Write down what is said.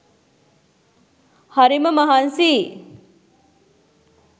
හරිම මහන්සියි